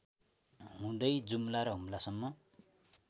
हुँदै जुम्ला र हुम्लासम्म